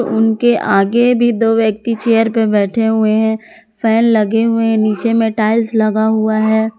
उनके आगे भी दो व्यक्ति चेयर पे बैठे हुए हैं फैन लगे हुए हैं नीचे में टाइल्स लगा हुआ है।